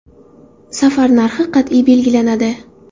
Safar narxi qat’iy belgilanadi.